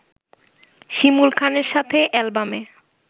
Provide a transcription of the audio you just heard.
শিমুল খানের সাথে অ্যালবামে